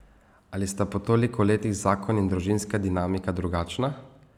Ali sta po toliko letih zakon in družinska dinamika drugačna?